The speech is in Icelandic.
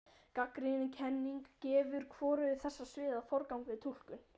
Gagnrýnin kenning gefur hvorugu þessara sviða forgang við túlkun.